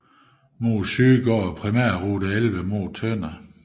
Mod syd går Primærrute 11 mod Tønder